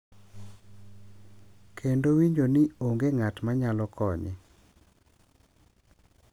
Kendo winjo ni onge ng’at ma nyalo konye.